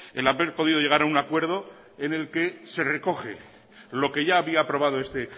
el haber podido llegar a un acuerdo en el que se recoge lo que ya había aprobado este